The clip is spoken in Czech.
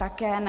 Také ne.